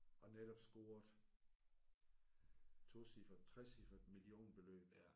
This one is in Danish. Og netop scoret tocifret trecifret millionbeløb